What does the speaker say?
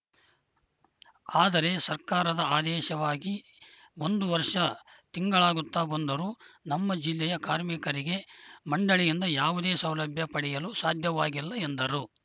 ಆದರೆ ಸರ್ಕಾರದ ಆದೇಶವಾಗಿ ಒಂದು ವರ್ಷ ತಿಂಗಳಾಗುತ್ತಾ ಬಂದರೂ ನಮ್ಮ ಜಿಲ್ಲೆಯ ಕಾರ್ಮಿಕರಿಗೆ ಮಂಡಳಿಯಿಂದ ಯಾವುದೇ ಸೌಲಭ್ಯ ಪಡೆಯಲು ಸಾಧ್ಯವಾಗಿಲ್ಲ ಎಂದರು